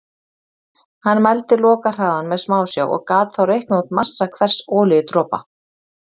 Hann mældi lokahraðann með smásjá og gat þá reiknað út massa hvers olíudropa.